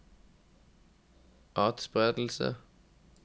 atspredelse